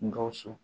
Gawusu